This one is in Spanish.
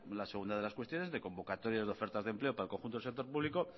una segunda de las cuestiones de convocatorias de ofertas de empleo para el conjunto del sector público